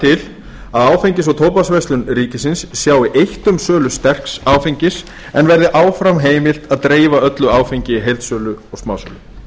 til að áfengis og tóbaksverslun ríkisins sjái eitt um sölu sterks áfengis en verði áfram heimilt að dreifa öllu áfengi í heildsölu og smásölu